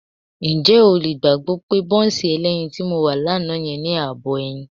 Ǹjẹ́ o lè gbàgbọ́ pé bọ́ńsì ẹlẹ́yin tí mo rà lánàá yẹn ní ààbọ̀ ẹyin?